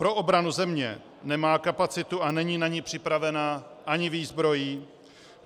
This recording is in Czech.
Pro obranu země nemá kapacitu a není na ni připravená ani výzbrojí.